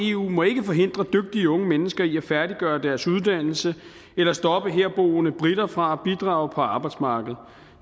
eu må ikke forhindre dygtige unge mennesker i at færdiggøre deres uddannelser eller stoppe herboende briter fra at bidrage på arbejdsmarkedet